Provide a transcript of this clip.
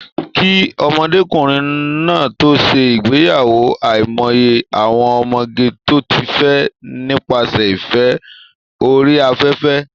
Kí ọmọkùnrin náà tó ṣe ìgbéyàwó, àìmọye àwọn ọmọge tó ti fẹ́ nípasẹ̀ ìfẹ́ orí afẹ́fẹ́